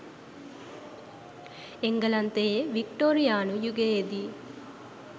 එංගලන්තයේ වික්ටෝරියානු යුගයේදී